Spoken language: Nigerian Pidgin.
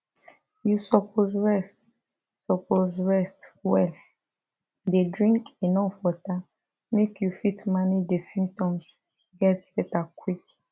you suppose rest suppose rest well dey drink enuf water make you fit manage di symptoms get beta quick